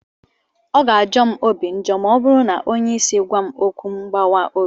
Ọ ga-ajọ m obi njọ ma ọ bụrụ na onye isi gwam okwu mgbawa obi.